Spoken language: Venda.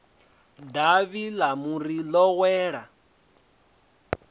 davhi ḽa muri ḽa wela